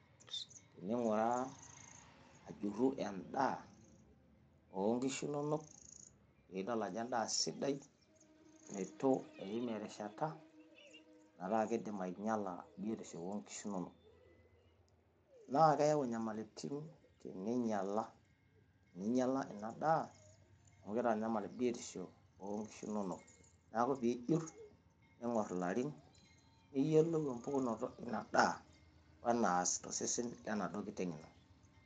tening'uraa ajuru endaa onkishu inono piidool ajoo endaa sidai itu eim erishata metaa kidim ainyala biotisho oonkishu inonok . nakeyau nyamalitin teninyala inadaa amu kitanyamal biotisho oonkishu inonok neaku piijurr nigorr ilarin niyiolou empukunoto inadaa wenas tosesen lenaduoo nkiteng ino.